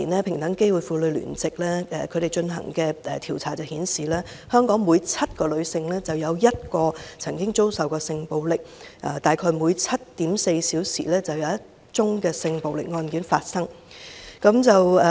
平等機會婦女聯席在2013年進行的調查顯示，香港每7名女性，便有1名曾經遭受性暴力，大概每 7.4 小時，便有一宗性暴力案件發生。